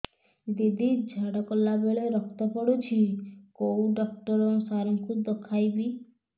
ଦିଦି ଝାଡ଼ା କଲା ବେଳେ ରକ୍ତ ପଡୁଛି କଉଁ ଡକ୍ଟର ସାର କୁ ଦଖାଇବି